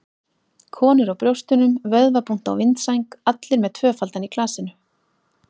Konur á brjóstunum, vöðvabúnt á vindsæng- allir með tvöfaldan í glasinu.